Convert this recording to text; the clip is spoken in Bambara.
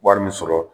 Wari min sɔrɔ